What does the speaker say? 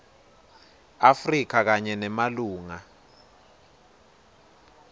afrika kanye nemalunga